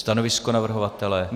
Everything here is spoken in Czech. Stanovisko navrhovatele?